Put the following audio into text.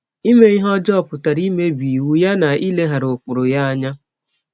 Ime ihe ọjọọ pụtara imebi iwụ ya na ileghara ụkpụrụ ya anya.